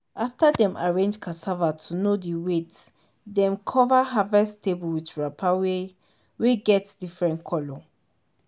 after dem arrange cassava to know the wwight dem cover harvest table with wrapper wey wey get different colour